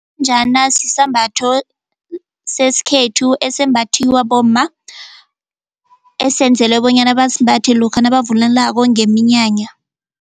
Sisambatho sesikhethu esembathiwa bomma esenzelwe bonyana basimbathe lokha nabavunulako ngeminyanya.